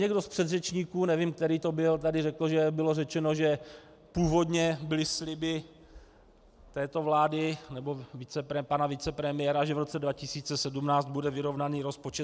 Někdo z předřečníků, nevím, který to byl, tady řekl, že bylo řečeno, že původně byly sliby této vlády nebo pana vicepremiéra, že v roce 2017 bude vyrovnaný rozpočet.